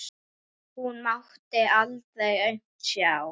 Hún mátti aldrei aumt sjá.